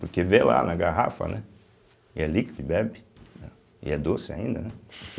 Porque vê lá na garrafa, né e é líquido e bebe, né e é doce ainda, né.